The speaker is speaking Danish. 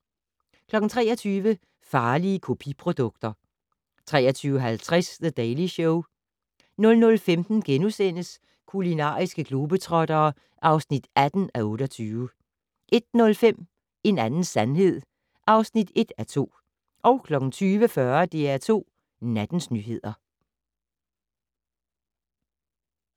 23:00: Farlige kopiprodukter 23:50: The Daily Show 00:15: Kulinariske globetrottere (18:28)* 01:05: En anden sandhed (1:2) 02:40: DR2 Nattens nyheder